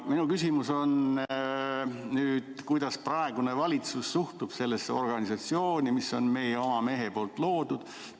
Minu küsimus on nüüd see: kuidas praegune valitsus suhtub sellesse organisatsiooni, mis on meie oma mehe loodud?